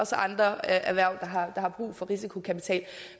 også andre erhverv der har brug for risikokapital